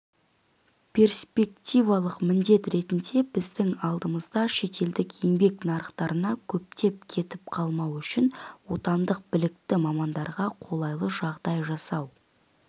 перспективалық міндет ретінде біздің алдымызда шетелдік еңбек нарықтарына көптеп кетіп қалмауы үшін отандық білікті мамандарға қолайлы жағдай жасау